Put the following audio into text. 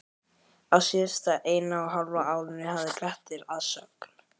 Á síðasta eina og hálfa árinu hafði Grettir að sögn